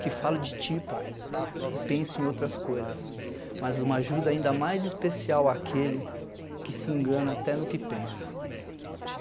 que falam de ti, pai, e pensam em outras coisas, mas uma ajuda ainda mais especial àquele que se engana até no que pensa.